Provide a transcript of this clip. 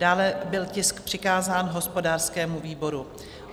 Dále byl tisk přikázán hospodářskému výboru.